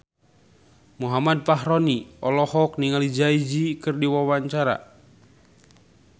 Muhammad Fachroni olohok ningali Jay Z keur diwawancara